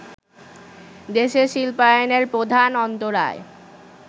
দেশে শিল্পায়নের প্রধান অন্তরায়